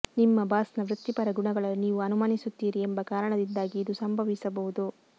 ನಿಮ್ಮ ಬಾಸ್ನ ವೃತ್ತಿಪರ ಗುಣಗಳನ್ನು ನೀವು ಅನುಮಾನಿಸುತ್ತೀರಿ ಎಂಬ ಕಾರಣದಿಂದಾಗಿ ಇದು ಸಂಭವಿಸಬಹುದು